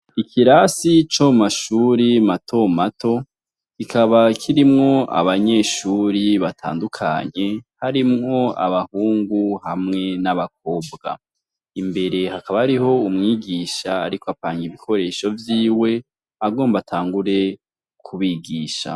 Ikirasi co mu mashure mato mato; kikaba kirimwo abanyeshuri batandukanye, harimwo abahungu, hamwe n'abakobwa. Imbere hakaba hariho umwigisha ariko apanga ibikoresho vyiwe, agomba atangure kubigisha.